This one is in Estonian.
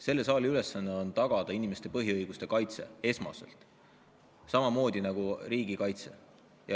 Selle saali ülesanne on tagada esmaselt inimeste põhiõiguste kaitse, samamoodi nagu riigikaitse.